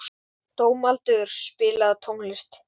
Dómaldur, spilaðu tónlist.